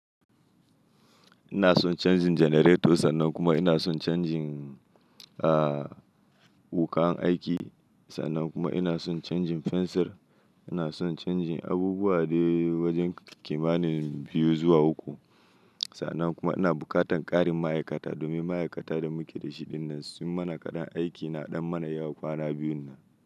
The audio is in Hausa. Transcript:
Ina son changin generator, sannan kuma ina son changin, ah, wuƙan aiki, sannan kuma ina son changin fensir. Ina son changin abubuwa dai wajen kimanin biyu zuwa uku. Sannan kuma ina bukatan ƙarin ma'aikata domin ma'aikata da muke da shi dinnan sun mana kaɗan aiki na ɗan mana yawa kwana biyun nan.